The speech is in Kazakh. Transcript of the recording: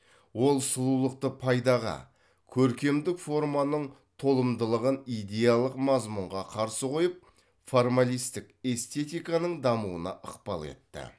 ол сұлулықты пайдаға көркемдік форманың толымдылығын идеялық мазмұнға қарсы қойып формалистік эстетиканың дамуына ықпал етті